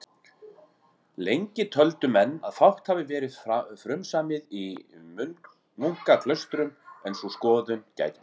Lengi töldu menn að fátt hafi verið frumsamið í nunnuklaustrum, en sú skoðun gæti breyst.